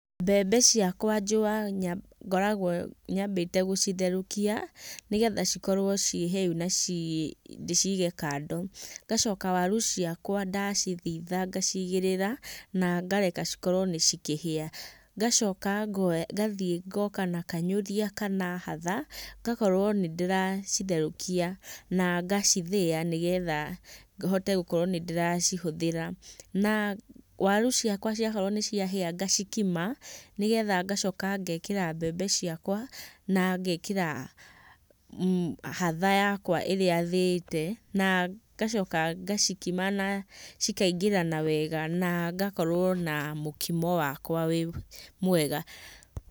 Mbembe ciakwa njũa ngoragwo nyambĩte gũcitherũkia, nĩgetha cikorwo ciĩ hĩũ na ci ndĩcige kando. ngacoka waru ciakwa ndacithitha ngacigĩrĩra, na ngareka cikorwo nĩ cikĩhĩa, ngacoka ngathiĩ ngoka na kanyũrĩa kana hatha, ngakorwo nĩndĩracitherũkia, na ngacithĩa nĩgetha hote gũkorwo nĩndĩracihũthĩra, Na waru ciakwa ciakorwo nĩciahĩa ngacikima, nĩgetha ngacoka ngekĩra mbembe ciakwa, na ngekĩra hatha yakwa ĩrĩa thĩite, na ngacoka ngacikima na cikaingĩrana wega na ngakorwo na mũkimo wakwa wĩ mwega.